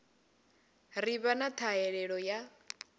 ḓi vha na ṱhahelelo ya